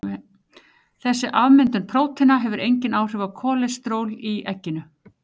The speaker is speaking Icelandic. Þessi afmyndun próteina hefur engin áhrif á kólesteról í egginu.